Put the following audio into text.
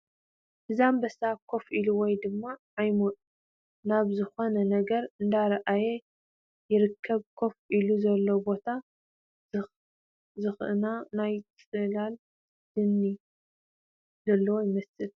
እዚ ኣምበሳ ከፍ ኢሉ ወይ ድማ ዓይሙ ናብ ዝኾነ ነገር እንዳረኣየ ይርከብ ኮፍ ኢሉዎ ዘሎ ቦታ ዝኽና ናይ ፅላል ድነ ዘለዎ ይመስል ።